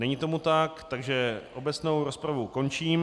Není tomu tak, takže obecnou rozpravu končím.